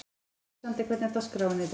Alexander, hvernig er dagskráin í dag?